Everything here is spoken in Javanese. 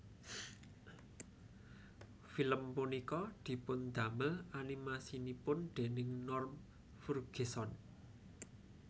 Film punika dipundamel animasinipun déning Norm Furgeson